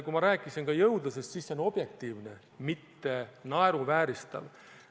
Kui ma rääkisin jõudlusest, siis see on objektiivne, mitte naeruvääristav.